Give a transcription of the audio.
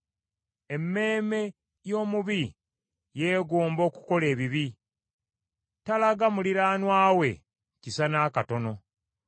Emmeeme y’omubi yeegomba okukola ebibi; talaga muliraanwa we kisa n’akatono.